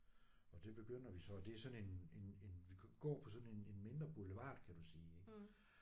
Og det begynder vi så og det er sådan en en en vi kan gå på sådan en en mindre boulevard kan du sige ik